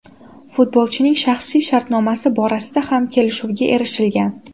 Futbolchining shaxsiy shartnomasi borasida ham kelishuvga erishilgan.